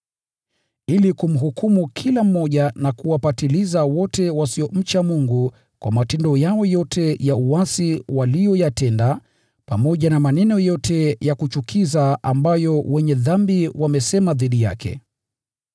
ili kumhukumu kila mmoja na kuwapatiliza wote wasiomcha Mungu kwa matendo yao yote ya uasi waliyoyatenda, pamoja na maneno yote ya kuchukiza ambayo wenye dhambi wamesema dhidi yake.”